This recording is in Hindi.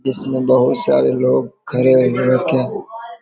इसमें बहुत सारे लोग खड़े हुए